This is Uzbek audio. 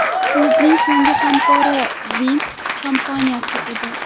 Klubning so‘nggi hamkori Wind kompaniyasi edi.